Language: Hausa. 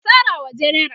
yace "ka sarawa jenera!